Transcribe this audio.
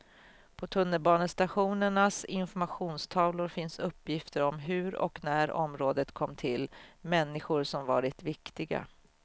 På tunnelbanestationernas informationstavlor finns uppgifter om hur och när området kom till, människor som varit viktiga.